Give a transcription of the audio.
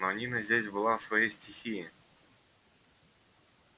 но нина здесь была в своей стихии